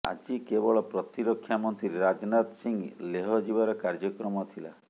ଆଜି କେବଳ ପ୍ରତିରକ୍ଷା ମନ୍ତ୍ରୀ ରାଜନାଥ ସିଂହ ଲେହ ଯିବାର କାର୍ଯ୍ୟକ୍ରମ ଥିଲା